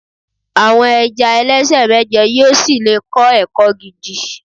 àwọn ẹja ẹlẹsẹ mẹjọ yíò sí le kọ ẹkọ gidi